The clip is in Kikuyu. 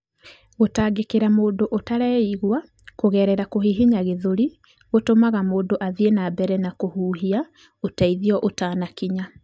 Gũtangĩkĩra mũndũ ũtareigua kũgerera kũhihinya gĩthũri gũtũmaga mũndũ athiĩ na mbere na kũhuhia ũteithio ũtanakinya.